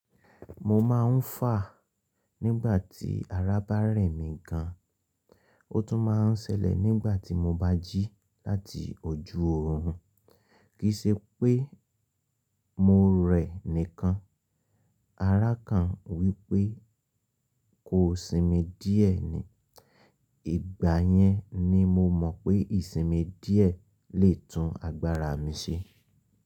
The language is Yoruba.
Mo máa ń fà nígbà tí ara bá rẹ̀ mi gan, ó tún máa ń sẹlẹ̀ nígbà tí mo bá jí láti ojú oòrùn. Kì í ṣe pé mo rẹ̀ nìkan, ara kan wí pé kò sinmi díẹ̀ ni. Ìgbà yẹn ni mo mọ̀ pé ìsinmi díẹ̀ lè tún agbára mi ṣe.